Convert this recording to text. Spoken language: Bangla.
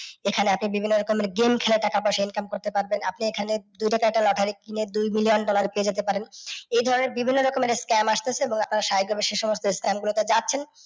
এখানে আপনি বিভিন্ন রকমের game খেলে টাকা পয়সা income করতে পারবেন। আপনি এই খানে দুইটা টাকার lottery কিনে দুইদিন এ পেয়ে যেতে পারেন। এই ধরণের বিভিন্ন রকমের scam আসতেছে এবং আপনারা উত্থসাহিত ভাবে সে সমস্ত s scam গুলোতে যাচ্ছেন।